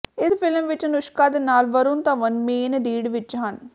ਇਸ ਫਿਲਮ ਵਿੱਚ ਅਨੁਸ਼ਕਾ ਦੇ ਨਾਲ ਵਰੁਣ ਧਵਨ ਮੇਨ ਲੀਡ ਵਿੱਚ ਹਨ